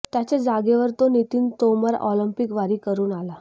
त्याच्या जागेवर जो नितीन तोमर ऑलिम्पिक वारी करून आला